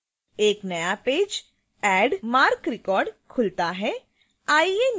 एक नया page add marc record खुलता है